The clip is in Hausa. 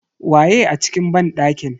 Waye a cikin banɗakin?